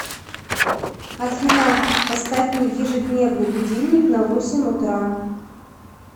афина поставь мне ежедневный будильник на восемь утра